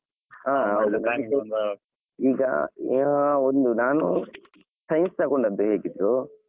ಹಾ ಹೌದು . ಈಗ ಒಂದು ನಾನು science ತಗೊಂಡದ್ದು ಹೇಗಿದ್ರೂ.